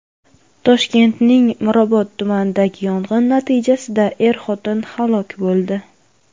Toshkentning Mirobod tumanidagi yong‘in natijasida er-xotin halok bo‘ldi.